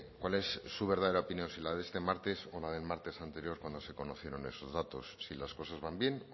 cuál es su verdadera opinión si la de este martes o la del martes anterior cuando se conocieron esos datos si las cosas van bien